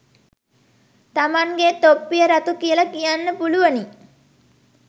තමන්ගෙ තොප්පිය රතු කියල කියන්න පුළුවනි